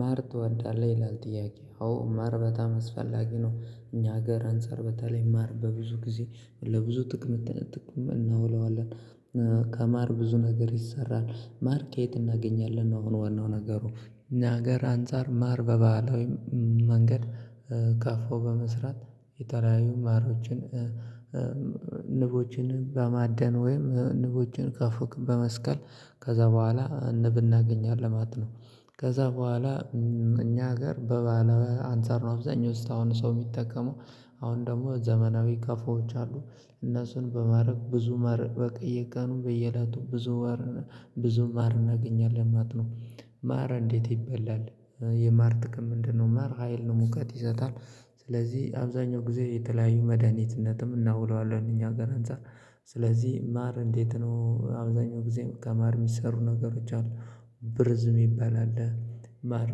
ማር ትወዳለህ ይላል? ጥያቄ አዎ ማር በጣም አስፈላጊ ነው። እኛ ሀገር አንፃር በተለይ ማር በብዙ ጊዜ ለብዙ ጥቅም ጥቅም እናውለዋለን። ከማር ብዙ ነገር ይሰራል ማር ከየት እናገኛለን ነው? ዋናው ነገሩ እኛ ሀገር አንፃር ማር በበህለዊ መንገድ ቀፎ በመስራት የተለያዩ ማሮችን ንቦችን ባማደን ወይም ንቦችን ከፎቅ በመስቀል ከዚያ በኋላ ንብ እናገኛለን ማለት ነው። ከዚያ በኋላ። እኛ ሀገር በባህለዊ አንፃር ነው። አብዛኛው እስከአሁን ሰው የሚጠቀመው አሁን ደግሞ ዘመናዊ ቀፎዎች አሉ እነሱን በማድረግ ብዙ ማር በየቀኑ በየላቱ ብዙ ብዙ ማር እናገኛለን ማለት ነው። ማር እንዴት ይበላል? የማር ጥቅም ምንድነው? ማር ሀይል ነው ሙቀት ይሰጣል። ስለዚህ አብዛኛው ጊዜ የተለያዩ መድሃኒትነትም እናውለዋለን እኛ ሀገር አንፃር። ስለዚህ ማር እንዴት ነው? አብዛኛው ጊዜም ከማር የሚሰሩ ነገሮች አሉ። ብርዝ ምባል አለ። ማር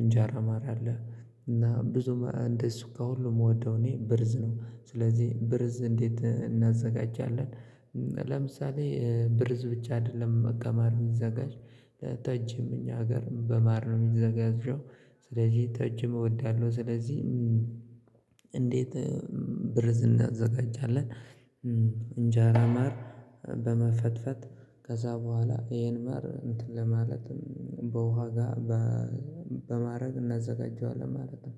እንጀራ ማር አለ እና ብዙ እንደቅ ከሁሉ የምወደው እኔ ብርዝ ነው። ስለዚህ ብርዝ እንዴት እናዘጋጃለን? ለምሳሌ ብርዝ ብቻ አይደለም ከማር የሚዘጋጅ ጠጅም እኛ ሀገር በማር ነው የሚዘጋጀሽው። ስለዚህ ጠጅም እወዳለሁ። ስለዚህ እንዴት ብርዝ እናዘጋጃለን? እንጀራ ማር በመፈትፈት ከዚያ በኋላ ይሄን ማር እንትን ለማለትም በውሃ ጋር በማድረግ እናዘጋጀዋለን ማለት ነው።